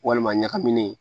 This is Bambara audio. Walima ɲagaminen